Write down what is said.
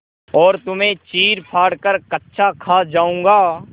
और तुम्हें चीरफाड़ कर कच्चा खा जाऊँगा